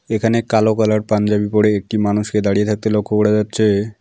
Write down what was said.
এখানে কালো কালার পাঞ্জাবি পরে একটি মানুষকে দাঁড়িয়ে থাকতে লক্ষ্য করা যাচ্ছে।